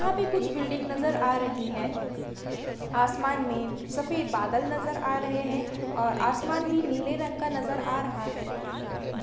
यहाँ पे कुछ बिल्डिंग नजर आ रही है आसमान में सफेद बादल नजर आ रहे है और आसमान भी नीले रंग का नजर आ रहा है